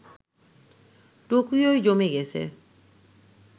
টোকিওয় জমে গেছে